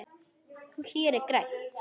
Hér er grænt.